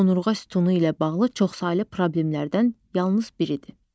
Onurğa sütunu ilə bağlı çoxsaylı problemlərdən yalnız biridir.